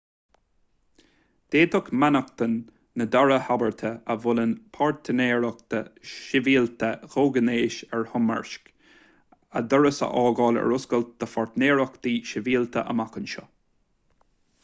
d'fhéadfadh mainneachtain na dara habairte a mholann páirtnéireacht shibhialta comhghnéis a thoirmeasc a doras a fhágáil ar oscailt do pháirtnéireachtaí sibhialta amach anseo